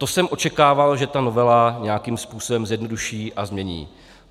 To jsem očekával, že ta novela nějakým způsobem zjednoduší a změní.